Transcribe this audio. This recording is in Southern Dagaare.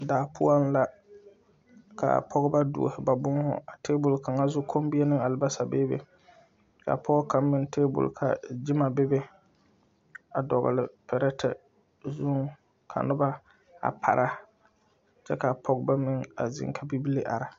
Daa poɔŋ la kaa pɔgebɔ duohi ba būūhū a tabol kaŋa zu kommie ne albasa beebe ka pɔɔ kaŋ meŋ tabol ka gyima bebe a dɔgle pirɛte zuŋ ka nobɔ a para kyɛ ka pɔgebɔ meŋ a zeŋ ka bibile are.